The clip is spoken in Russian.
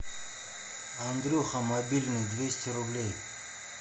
андрюха мобильный двести рублей